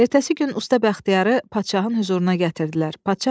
Ertəsi gün usta Bəxtiyarı padşahın hüzuruna gətirdilər.